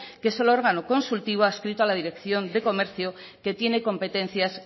que es el órgano consultivo adscrito a la dirección de comercio que tiene competencias